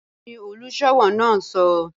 Kini oluṣowo n sọ?